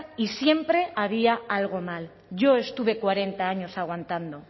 y siempre había algo mal yo estuve cuarenta años aguantando